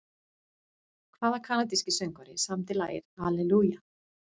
Hvaða kanadíski söngvari samdi lagið Hallelujah?